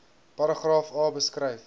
paragraaf a beskryf